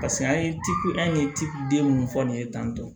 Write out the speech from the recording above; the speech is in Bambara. Paseke an ye ciko an ye ci den minnu fɔ nin ye tantɔ